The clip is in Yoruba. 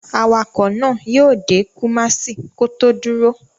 Awakọ̀ náà yíó dé Kumasi kó tó dúró